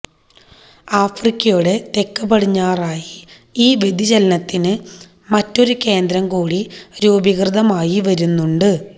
ആഫ്രിക്കയുടെ തെക്ക് പടിഞ്ഞാറായി ഈ വ്യതിചലനത്തിന് മറ്റൊരു കേന്ദ്രം കൂടി രൂപീകൃതമായി വരുന്നുണ്ട്